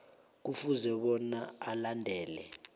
kufuze bona alandele